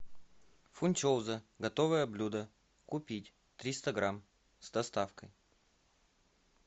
фунчоза готовое блюдо купить триста грамм с доставкой